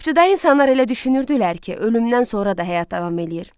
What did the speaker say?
İbtidai insanlar elə düşünürdülər ki, ölümdən sonra da həyat davam eləyir.